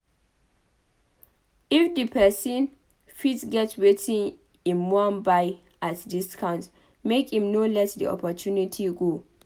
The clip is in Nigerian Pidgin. If di person fit get wetin im wan buy at discount make im no let the opportunity go